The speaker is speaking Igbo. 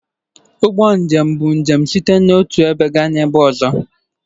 Ụgbọ njem bụ njem site n'otu ebe gaa n'ọzọ.